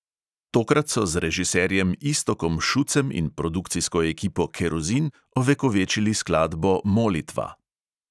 Tokrat so z režiserjem iztokom šucem in produkcijsko ekipo kerozin ovekovečili skladbo molitva.